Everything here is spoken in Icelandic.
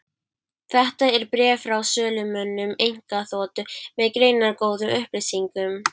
Þetta er bréf frá sölumönnum einkaþotu, með greinargóðum upplýsingum.